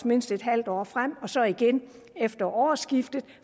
mindst et halvt år frem og så igen efter årsskiftet